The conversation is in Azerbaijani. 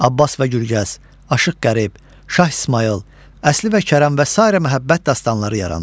Abbas və Gülgəz, Aşıq Qərib, Şah İsmayıl, Əsli və Kərəm və sairə məhəbbət dastanları yarandı.